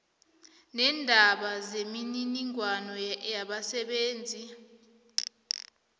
leendaba zemininingwana yabasebenzi